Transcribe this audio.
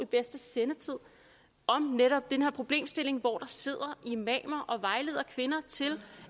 bedste sendetid om netop den her problemstilling hvor der sidder imamer og vejleder kvinder til